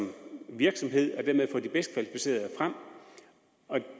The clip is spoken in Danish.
virksomhed og dermed få de bedst kvalificerede frem